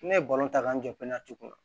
Ne ye balon ta k'an jɔ peɲɛre kun